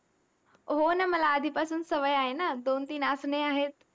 हो ना, मला आधीपासून सवय आहे ना. दोन-तीन आसने आहेत.